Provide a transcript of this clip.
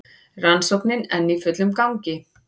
Rannsóknin enn í fullum gangi